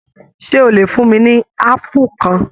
Ṣe o lè fún mí ní apu kan?